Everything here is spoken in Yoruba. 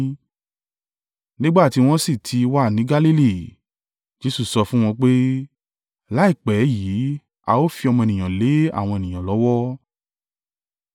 Nígbà tí wọ́n sì ti wà ní Galili, Jesu sọ fún wọn pé, “Láìpẹ́ yìí a ó fi Ọmọ Ènìyàn lé àwọn ènìyàn lọ́wọ́.